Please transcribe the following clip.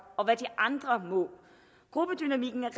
og hvad de andre må gruppedynamikken er